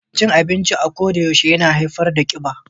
Cin abinci a kodayaushe yana haifar da kiba.